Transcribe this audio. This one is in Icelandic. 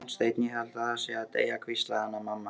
Gunnsteinn, ég held ég sé að deyja, hvíslaði Hanna-Mamma.